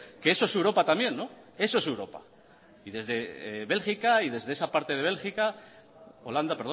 que eso es europa también y desde de esa parte de bélgica perdón desde esa parte de holanda